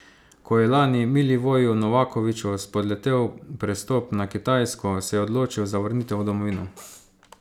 Ko je lani Milivoju Novakoviću spodletel prestop na Kitajsko, se je odločil za vrnitev v domovino.